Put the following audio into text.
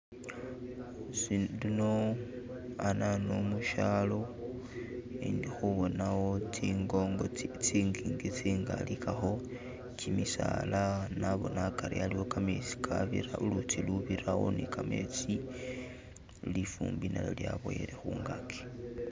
Si luno anano mushalo indikhubonawo tsingongo tsi tsingingi tsingali kakho, kimisaala , naboona akari aliwo kametsi kabirawo ulutsi urubirawo ni kametsi lifuumbi nalyo lyaboyele khungaki